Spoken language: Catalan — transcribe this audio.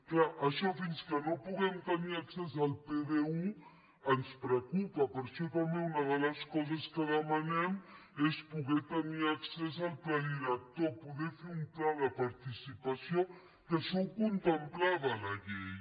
clar això fins que no puguem tenir accés al pd1 ens preocupa per això també una de les coses que demanem és poder tenir accés al pla director poder fer un pla de participació que això ho contemplava la llei